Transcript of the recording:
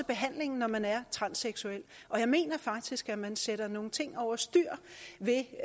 behandlingen når man er transseksuel og jeg mener faktisk at man sætter nogle ting over styr ved